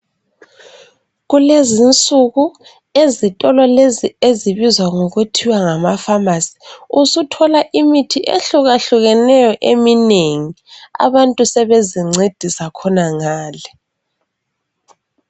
Kulezinsuku ezitolo lezi ezibizwa ngokuthiwa ngamafamasi. Usuthola imithi ehlukahlukeneyo eminengi. Abantu sebezincedisa khonangale.